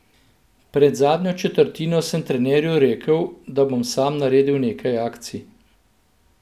Pred zadnjo četrtino sem trenerju rekel, da bom sam naredil nekaj akcij.